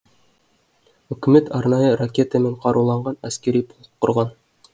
үкімет арнайы ракетамен қаруланған әскери полк құрған